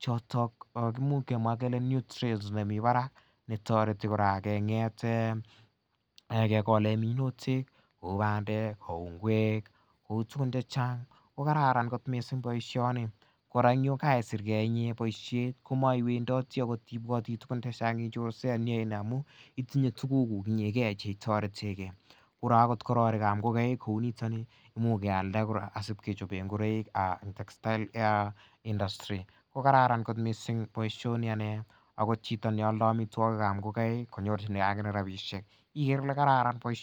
choton kimuch kemwaa kele nutrients chemii barak netoreti kora keng'et kekolen minutik kou bandek kou ngwek kou tugun chechang ko kararan kot missing boisioni kora yan keisir gee en boisiet ko maiwendotii ibwoti tuguk chechang ichorsei amu itinye tuguk kuk chetoretengee akot kororik ab ngokaik kouniton ni imuch kealda kora asib kechoben ngoroik en textile industry ko kararan kot missing boisioni anee ako chito neoldoo amitwogik ab ngokaik konyorchigee ak inee rapisiek ikere ile kararan boisioni